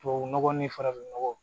Tubabu nɔgɔ ni farafin nɔgɔ